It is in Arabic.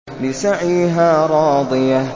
لِّسَعْيِهَا رَاضِيَةٌ